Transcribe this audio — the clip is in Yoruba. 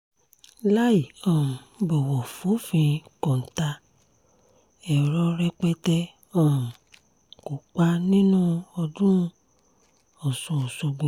láì um bọ̀wọ̀ fòfin kọ́ńtà èrò rẹpẹtẹ um kópa nínú ọdún ọ̀sùn ọ̀ṣọ́gbó